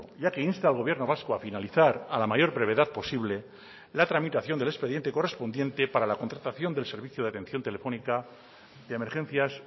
ya que insta al gobierno vasco a finalizar a la mayor brevedad posible la tramitación del expediente correspondiente para la contratación del servicio de atención telefónica de emergencias